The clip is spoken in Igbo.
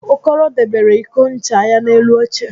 Okoro debere iko ncha ya n'elu oche